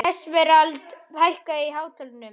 Esmeralda, hækkaðu í hátalaranum.